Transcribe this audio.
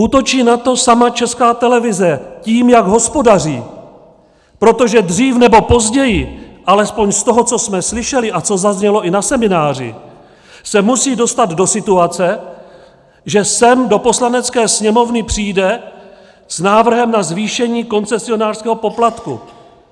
Útočí na to sama Česká televize tím, jak hospodaří, protože dřív nebo později, alespoň z toho, co jsme slyšeli a co zaznělo i na semináři, se musí dostat do situace, že sem do Poslanecké sněmovny přijde s návrhem na zvýšení koncesionářského poplatku.